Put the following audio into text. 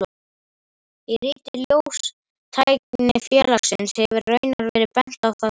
Í riti Ljóstæknifélagsins hefur raunar verið bent á það sama.